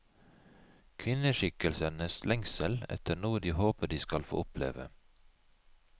Kvinneskikkelsenes lengsel efter noe de håper de skal få oppleve.